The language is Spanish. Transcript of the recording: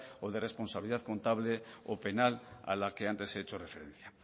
o de responsabilidad contable o penal a la que antes he hecho referencia